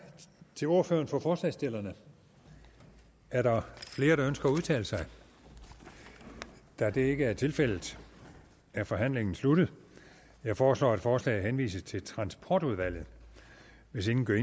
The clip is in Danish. til ordføreren for forslagsstillerne er der flere der ønsker at udtale sig da det ikke er tilfældet er forhandlingen sluttet jeg foreslår at forslaget henvises til transportudvalget hvis ingen gør